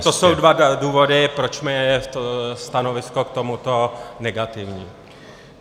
To jsou dva důvody, proč je moje stanovisko k tomuto negativní.